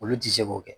Olu ti se k'o kɛ